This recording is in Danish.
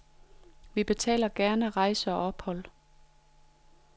Vi betaler gerne rejse og ophold.